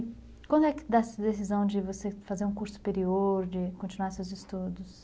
E quando é que dá-se a decisão de você fazer um curso superior, de continuar seus estudos?